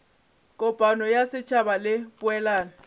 kopano ya setšhaba le poelano